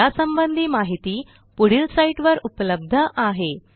यासंबंधी माहिती पुढील साईटवर उपलब्ध आहे